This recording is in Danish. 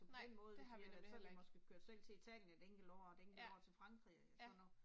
Nej det har vi nemlig heller ikke. Ja, ja